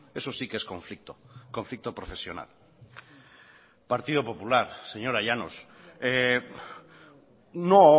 eso sí que es conflicto conflicto profesional partido popular señora llanos no